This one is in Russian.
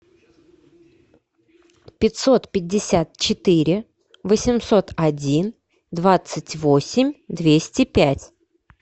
пятьсот пятьдесят четыре восемьсот один двадцать восемь двести пять